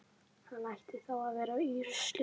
Hann ætti þá að vera í ruslinu.